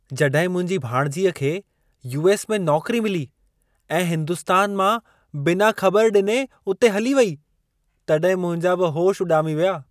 जॾहिं मुंहिंजी भाणेजीअ खे यू.एस. में नौकरी मिली ऐं हिंदुस्तान मां बिना ख़बर ॾिने उते हली वेई, तॾहिं मुंहिंजा बि होश उॾामी विया।